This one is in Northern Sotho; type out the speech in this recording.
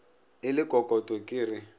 e le kokoto ke re